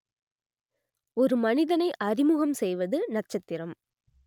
ஒரு மனிதனை அறிமுகம் செய்வது நட்சத்திரம்